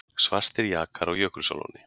Svartir jakar á Jökulsárlóni